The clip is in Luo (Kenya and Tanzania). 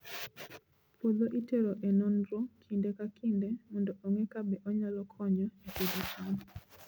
Puodho itero e nonro kinde ka kinde mondo ong'e kabe onyalo konyo e pidho cham.